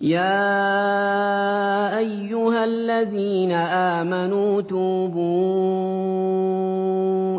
يَا أَيُّهَا الَّذِينَ آمَنُوا تُوبُوا